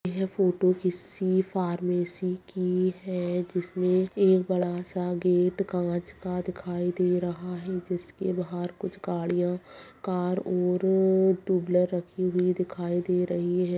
यह फोटो किसी फार्मेसी की है जिसमें एक बड़ा-सा गेट कांच का दिखाई दे रहा है जिसके बाहर कुछ गाड़ियां कार और टू व्हीलर रखी हुई दिखाई दे रही है।